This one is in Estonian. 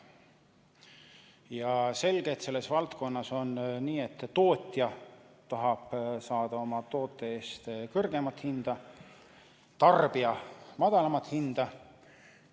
Ja selge, et selles valdkonnas on nii, et tootja tahab saada oma toote eest kõrgemat hinda, tarbija tahab madalamat hinda.